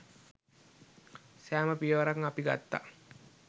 සෑම පියවරක්ම අපි ගත්තා.